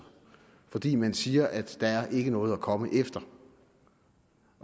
fordi man siger at der ikke er noget at komme efter